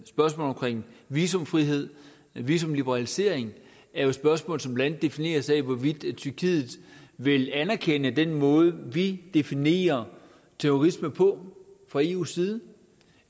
spørgsmål omkring visumfrihed visumliberalisering er jo et spørgsmål som blandt andet defineres af hvorvidt tyrkiet vil anerkende den måde vi definerer terrorisme på fra eus side